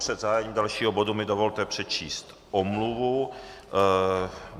Před zahájením dalšího bodu mi dovolte přečíst omluvu.